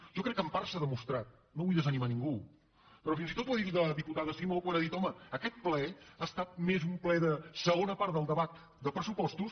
jo crec que en part s’ha demostrat no vull desanimar ningú però fins i tot ho ha dit la diputada simó quan ha dit home aquest ple ha estat més un ple de segona part del debat de pressupostos